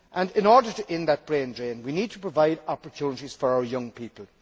In order to end that brain drain we need to provide opportunities for our young people.